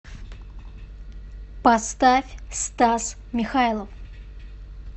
поставь стас михайлов